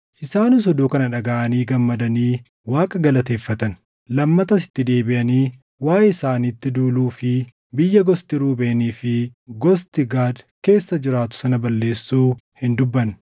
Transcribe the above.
Isaanis oduu kana dhagaʼanii gammadanii Waaqa galateeffatan. Lammatas itti deebiʼanii waaʼee isaanitti duuluu fi biyya gosti Ruubeenii fi gosti Gaad keessa jiraatu sana balleessuu hin dubbanne.